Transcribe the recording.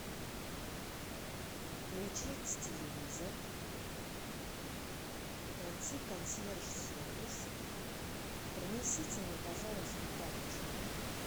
включить телевизор найти консьерж сервис принесите мне пожалуйста тапочки